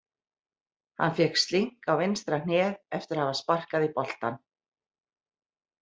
Hann fékk slink á vinstra hnéð eftir að hafa sparkað í boltann.